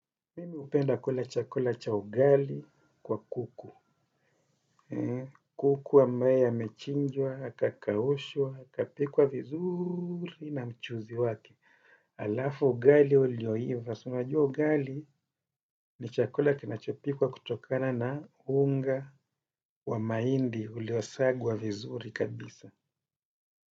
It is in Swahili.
Mimi hupenda kula chakula cha ugali kwa kuku. Kuku ambaye amechinjwa, akakaushwa, akapikwa vizuuuri na mchuzi wake. Halafu ugali ulioiva. Si unajua ugali ni chakula kinachopikwa kutokana na unga wa mahindi uliosagwa vizuri kabisa.